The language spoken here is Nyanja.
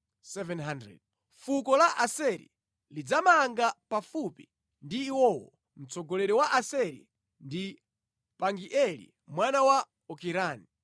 Fuko la Aseri lidzamanga pafupi ndi iwowo. Mtsogoleri wa Aaseri ndi Pagieli mwana wa Okirani.